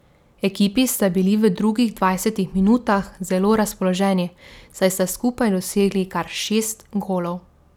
Ekipi sta bili v drugih dvajsetih minutah zelo razpoloženi, saj sta skupaj dosegli kar šest golov.